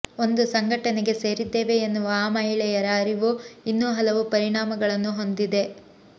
ಒಂದು ಸಂಘಟನೆಗೆ ಸೇರಿದ್ದೇವೆ ಎನ್ನುವ ಆ ಮಹಿಳೆಯರ ಅರಿವು ಇನ್ನೂ ಹಲವು ಪರಿಣಾಮಗಳನ್ನು ಹೊಂದಿದೆ